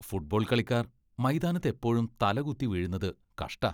Football കളിക്കാർ മൈതാനത്ത് എപ്പോഴും തലകുത്തി വീഴുന്നത് കഷ്ടാ.